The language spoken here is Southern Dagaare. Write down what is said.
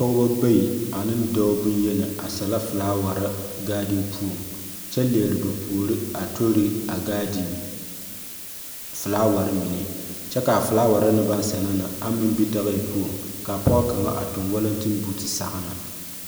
pɔgeba bayi ane dɔɔ boŋyenaa asɛlɛ felaaware gaadiŋ puoŋ. Kyɛ leɛ ba puori a tori a gaadiŋ felaaware mine. Kyɛ ka a felaawahe ne baŋ sɛna ne aŋ meŋ bi dagahe puoŋ. Ka apɔge kaŋa a toŋ walɛteŋ buuti sɔgene.